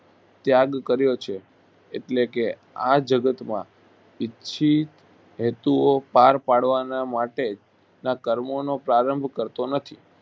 ત્યાગ કર્યો છે એટલે કે આ જગતમાં ઈચ્છીત હેતુઓ પાર પાડવાના માટે ના કર્મોનો પ્રારંભ કરતો નથી